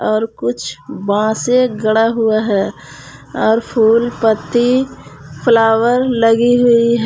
और कुछ बासे गड़ा हुआ है और फूल पत्ती फ्लावर लगी हुई है।